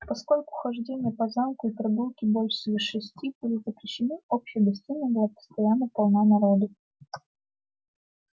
поскольку хождение по замку и прогулки после шести были запрещены общая гостиная была постоянно полна народу